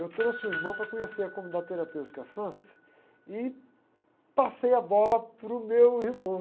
Eu trouxe o irmão para conhecer a comunidade terapêutica e passei a bola para o meu irmão.